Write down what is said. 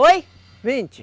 Oi? vinte.